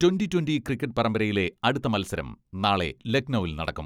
Twenty twenty cricket പരമ്പരയിലെ അടുത്ത മത്സരം നാളെ ലഖ്നൗവിൽ നടക്കും.